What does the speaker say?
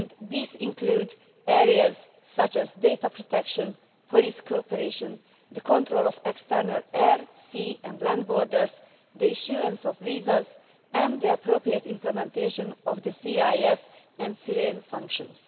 These include areas such as data protection, police cooperation, the control of external air, sea and land borders, the issuing of visas and the appropriate implementation of the SIS and SIRENE functions.